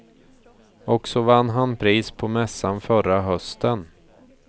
Och så vann han pris på mässan förra hösten.